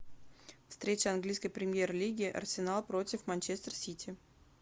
встреча английской премьер лиги арсенал против манчестер сити